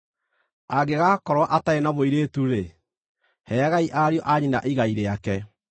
Angĩgakorwo atarĩ na mũirĩtu-rĩ, heagai ariũ a nyina igai rĩake.